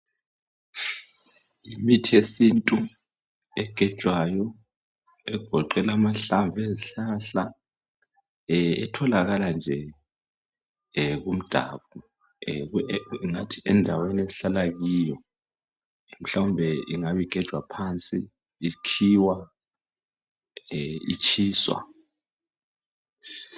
Imithi yesintu egejwayo egoqela amahlamvu ezihlahla ehh etholakala nje ehh kumdabu ehh ngingathi endaweni esihlala kuyo mhlawumbe ingabe igejwa phansi ikhiwa ehh itshiswa.